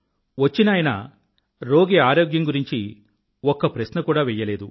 వచ్చినాయన రోగి ఆరోగ్యం గురించి ఒక్క ప్రశ్న కూడా వెయ్యలేదు